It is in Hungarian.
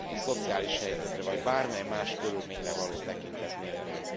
szociális helyzetre vagy bármely más körülményre való tekintet nélkül.